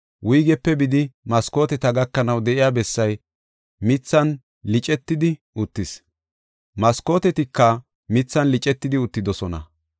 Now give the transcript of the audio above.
wuygepe bidi, maskooteta gakanaw de7iya bessay mithan licetidi uttis; maskootetika mithan licetidi uttidosona.